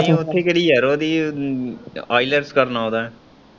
ਨਈ ਉੱਥੇ ਕਿਹੜੀ ਯਾਰ ਉਹਦੀ ielts ਕਰਨ ਆਉਂਦਾ ਏ।